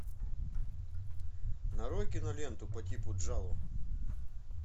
нарой киноленту по типу джалло